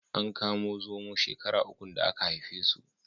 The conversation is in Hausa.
An kamo zomo shekara ukun da aka haife su.